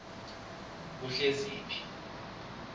kuhleziphi